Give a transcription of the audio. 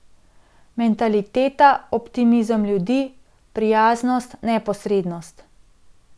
Mentaliteta, optimizem ljudi, prijaznost, neposrednost.